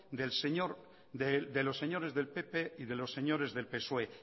de los señores del pp y de los señores del psoe